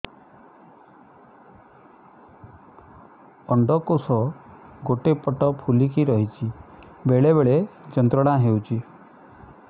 ଅଣ୍ଡକୋଷ ଗୋଟେ ପଟ ଫୁଲିକି ରହଛି ବେଳେ ବେଳେ ଯନ୍ତ୍ରଣା ହେଉଛି